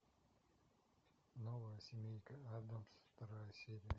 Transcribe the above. новая семейка аддамс вторая серия